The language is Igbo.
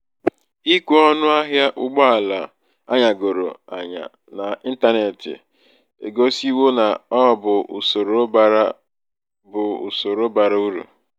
ikwe ọṅụ ahịa ụgbọ ala anyagoro um anya n'ịntanetị egosiwo na ọ bụ usoro bara bụ usoro bara uru